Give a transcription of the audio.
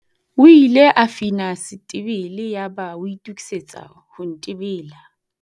O ile a fina setebele yaba a itokisetsa ho ntebela.